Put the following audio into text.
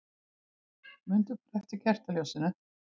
Mundu bara eftir kertaljósinu.